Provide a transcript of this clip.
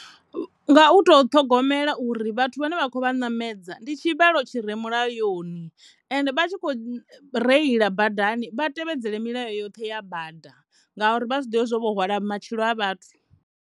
Nga u to ṱhogomela uri vhathu vhane vha kho vha namedza ndi tshivhalo tshi re mulayoni ende vha tshi kho reila badani vha tevhedzela milayo yoṱhe ya bada ngauri vha zwi ḓivhe zwa uri vho hwala matshilo a vhathu.